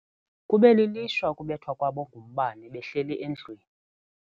Kube lilishwa ukubethwa kwabo ngumbane behleli endlwini.